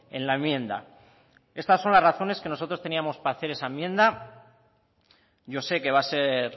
en la enmienda estas son las razones que nosotros tenemos para hacer esa enmienda yo sé que va a ser